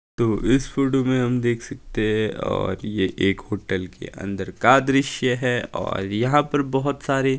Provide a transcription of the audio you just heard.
तो इस फोटो में हम देख सकते हैं और ये एक होटल के अंदर का दृश्य है और यहां पर बहुत सारे--